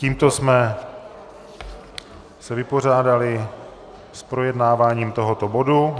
Tímto jsme se vypořádali s projednáváním tohoto bodu.